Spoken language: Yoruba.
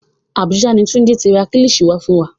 Àbújá ni Túnjí ti ra kílìṣí wá fún wa